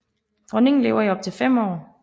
Dronningen lever i op til fem år